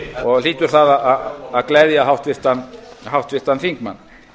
og hlýtur það að gleðja háttvirtan þingmann